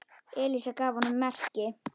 Elísa gaf honum merki.